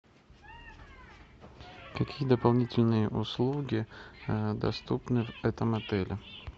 какие дополнительные услуги доступны в этом отеле